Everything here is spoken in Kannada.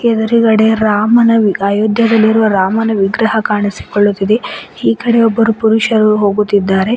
ಎದ್ರುಗಡೆ ರಾಮನ ವಿ ಅಯೋಧ್ಯದಲ್ಲಿರುವ ರಾಮನ ವಿಗ್ರಹ ಕಾಣಿಸಿಕೊಳ್ಳುತ್ತಿದೆ ಈ ಕಡೆ ಒಬ್ಬರು ಪುರುಷರು ಹೋಗುತ್ತಿದ್ದಾರೆ.